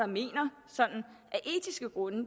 mener